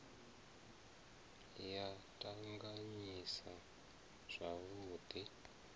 ya t anganyisa zwavhud i